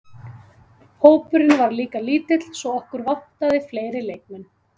Hópurinn var líka lítill svo okkur vantaði fleiri leikmenn.